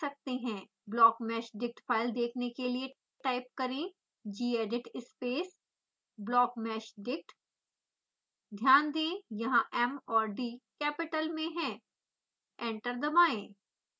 blockmeshdict file देखने के लिए टाइप करें gedit space blockmeshdict ध्यान दें यहाँ m और d कैपिटल में हैं एंटर दबाएं